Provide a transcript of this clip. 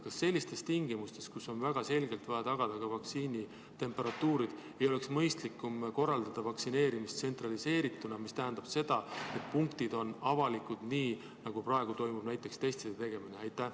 Kas sellistes tingimustes, kus on väga selgelt vaja tagada ka vaktsiini temperatuur, ei oleks mõistlikum korraldada vaktsineerimist tsentraliseerituna, mis tähendab, et punktid on avalikud, nii nagu praegu toimub näiteks testide tegemine?